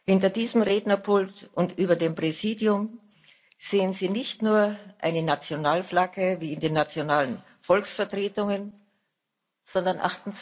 Hinter diesem Rednerpult und über dem Präsidium sehen Sie nicht nur eine Nationalflagge wie in den nationalen Volksvertretungen, sondern